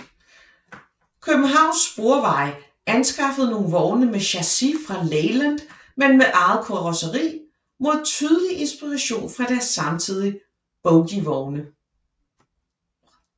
Københavns Sporveje anskaffede nogle vogne med chassis fra Leyland men med eget karosseri med tydelig inspiration fra deres samtidige bogievogne